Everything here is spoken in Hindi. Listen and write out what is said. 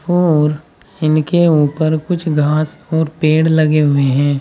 और इनके ऊपर कुछ घास और पेड़ लगे हुए हैं।